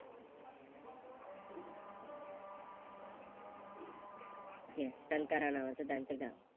Yes Santara नावाचं त्यांचं गाव.